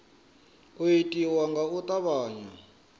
u itiwa nga u tavhanya